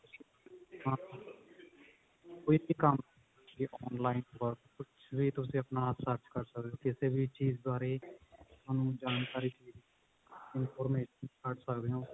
ਕੋਈ ਵ ਕੰਮ ਕੋਈ ਵੀ online ਕੁਛ ਵੀ ਤੁਸੀਂ ਆਪਣਾ search ਕਰ ਸਕਦੇ ਹੋ ਕਿਸੇ ਵੀ ਚੀਜ਼ ਬਾਰੇ ਥੋਨੂੰ ਜਾਣਕਾਰੀ ਚਾਹੀਦੀ ਹੈ information ਕੱਢ ਸਕਦੇ ਹੋ